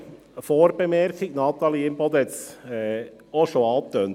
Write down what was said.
Eine Vorbemerkung – Natalie Imboden hat es auch schon angetönt: